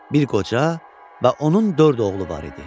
Bir qoca və onun dörd oğlu var idi.